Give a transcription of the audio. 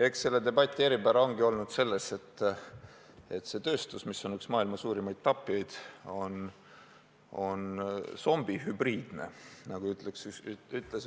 Eks selle debati eripära ongi olnud selles, et see tööstus, mis on üks maailma suurimaid tapjaid, on zombihübriidne, nagu ütles